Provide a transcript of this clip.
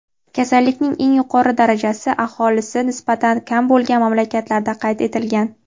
Kasallikning eng yuqori darajasi aholisi nisbatan kam bo‘lgan mamlakatlarda qayd etilgan.